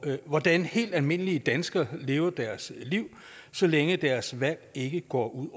hvordan helt almindelige danskere lever deres liv så længe deres valg ikke går ud